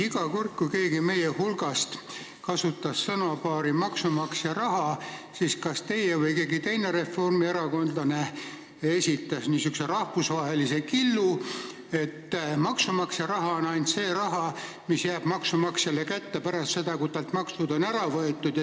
Iga kord, kui keegi meie hulgast kasutas sõnapaari "maksumaksja raha", siis esitasite kas teie või esitas mõni teine reformierakondlane rahvusvahelise killu, et maksumaksja raha on ainult see raha, mis jääb maksumaksjale kätte pärast seda, kui talt on maksud ära võetud.